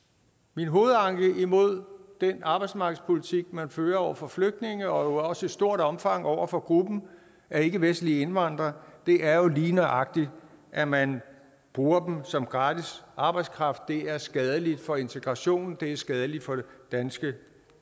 min hovedanke imod den arbejdsmarkedspolitik man fører over for flygtninge og også i stort omfang over for gruppen af ikkevestlige indvandrere er lige nøjagtig at man bruger dem som gratis arbejdskraft det er skadeligt for integrationen og det er skadeligt for de danske